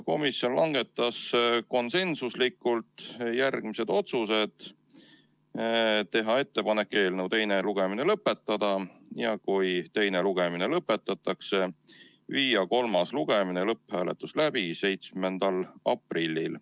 Komisjon langetas konsensuslikult järgmised otsused: teha ettepanek eelnõu teine lugemine lõpetada ja kui teine lugemine lõpetatakse, viia kolmas lugemine ja lõpphääletus läbi 7. aprillil.